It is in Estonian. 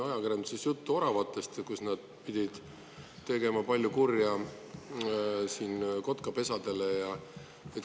Ajakirjanduses oli juttu ka oravatest, kes pidavat tegema palju kurja kotkapesadele.